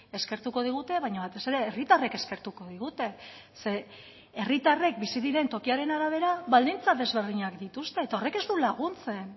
eskertuko digute baina batez ere herritarrek eskertuko digute zeren herritarrek bizi diren tokiaren arabera baldintza desberdinak dituzte eta horrek ez du laguntzen